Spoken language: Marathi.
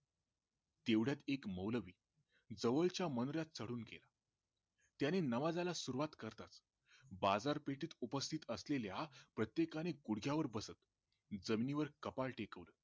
तेवढ्यात एक मौलवी जवळच्या मनोऱ्यात चढून गेला त्याने नमाजाला सुरुवात करताच बाजार पेठेत उपस्थित असलेल्या प्रत्येकानी गुढग्यावर बसत जमिनीवर कपाळ टेकवले